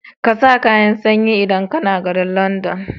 ƙasa kayan sanyi idan kAna garin London